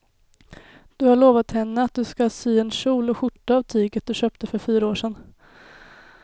Du har lovat henne att du ska sy en kjol och skjorta av tyget du köpte för fyra år sedan.